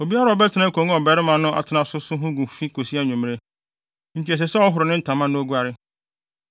Obiara a ɔbɛtena akongua a ɔbarima no atena so so ho gu fi kosi anwummere, enti ɛsɛ sɛ ɔhoro ne ntama na oguare.